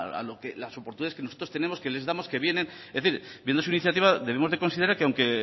a las oportunidades que nosotros tenemos que les damos que vienen es decir viendo su iniciativa debemos de considerar que aunque